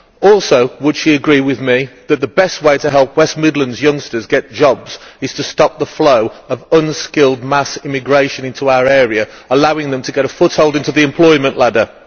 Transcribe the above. Also, would she agree with me that the best way to help West Midlands youngsters get jobs is to stop the flow of unskilled mass immigration into our area, allowing them to get a foothold on the employment ladder?